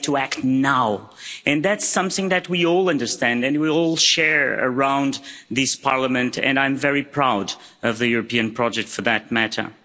We have to act now, and that's something that we all understand and we all share around this Parliament, and I'm very proud of the European project for that matter.